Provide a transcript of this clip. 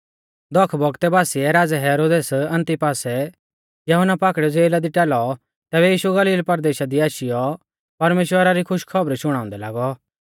दख बौगतै बासिऐ राज़ै हेरोदेस अंतिपासै यहुन्ना पाकड़ियौ ज़ेला दी टाल़ौ तैबै यीशु गलील परदेशा दी आशीयौ परमेश्‍वरा री खुशी री खौबर शुणाउंदै लागौ